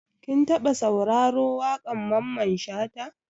Kin taɓa sauraro wakar Mamman Shata?